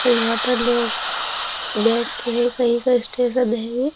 और यहाँ पर लोग बैठते हैं कहीं का स्टेशन है ये।